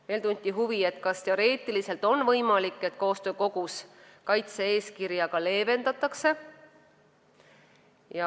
Veel tunti huvi, kas teoreetiliselt on võimalik, et koostöökogus kaitse-eeskirja leevendatakse.